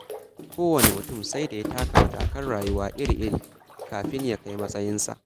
Kowane mutum sai da ya taka matakan rayuwa iri-iri, kafin ya kai matsayinsa.